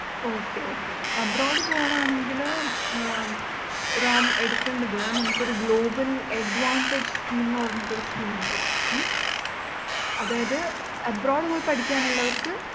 Okay Okay abroad പോവാനാണെങ്കിൽ uh റാം എടുക്കേണ്ടത് നമുക്കൊരു global advantage scheme ന്ന് പറഞ്ഞിട്ടൊരു scheme ഉണ്ട് ഉം അതായത് abroad പോയി പഠിക്കാനുളളവർക്ക്